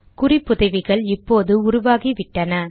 குறிப்புதவிகள் இப்போது உருவாகிவிட்டன